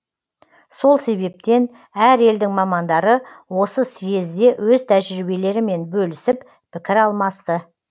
сол себептен әр елдің мамандары осы съезде өз тәжіриебелерімен бөлісіп пікір алмасты